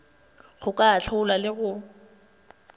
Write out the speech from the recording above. go ka ahlola le go